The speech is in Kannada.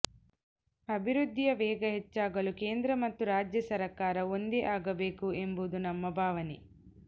ಅಭಿವೃದ್ಧಿಯ ವೇಗ ಹೆಚ್ಚಾಗಲು ಕೇಂದ್ರ ಮತ್ತು ರಾಜ್ಯ ಸರ್ಕಾರ ಒಂದೇ ಆಗಬೇಕು ಎಂಬುದು ನಮ್ಮ ಭಾವನೆ